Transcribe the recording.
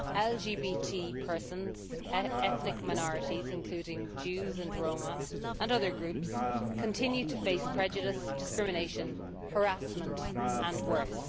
LGBT persons, ethnic minorities, including Jews and Roma, and other groups continue to face prejudice, discrimination, harassment and worse.